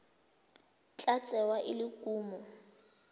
tla tsewa e le kumo